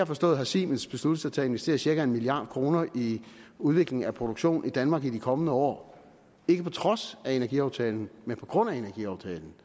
forstået har siemens besluttet sig til at investere cirka en milliard kroner i udvikling af produktion i danmark i de kommende år ikke på trods af energiaftalen men på grund af energiaftalen